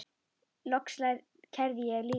Loks kærði ég líka.